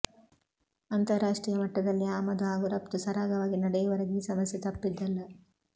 ಅಂತಾರಾಷ್ಟ್ರೀಯ ಮಟ್ಟದಲ್ಲಿ ಆಮದು ಹಾಗೂ ರಫ್ತು ಸರಾಗವಾಗಿ ನಡೆಯುವವರೆಗೆ ಈ ಸಮಸ್ಯೆ ತಪ್ಪಿದ್ದಲ್ಲ